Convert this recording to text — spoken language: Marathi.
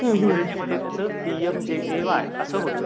इंग्रजीमध्ये त्याचं पीएमजेएवाय असं होतं.